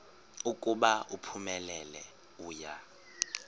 ukuba uphumelele uya